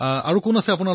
আপোনাৰ সৈতে আৰু কোন আছে